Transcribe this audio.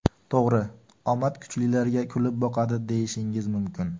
To‘g‘ri, omad kuchlilarga kulib boqadi deyishingiz mumkin.